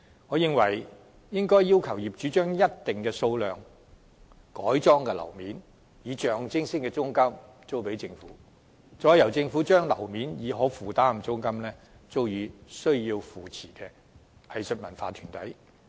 我認為，政府應規定業主將一定數量經改裝的樓面面積，以象徵式租金租予政府，再由政府以可負擔租金租予需予扶持的藝術文化團體。